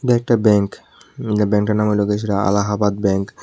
একটা ব্যাংক ব্যাংকটার নাম হল কিছুটা আহালাবাত ব্যাংক ।